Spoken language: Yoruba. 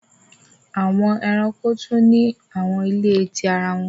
Awọn ẹranko tun ni awọn ile ti ara wọn